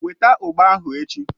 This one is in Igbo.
Weta ugba ahu echi.!